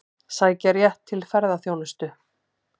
Sækja rétt til ferðaþjónustu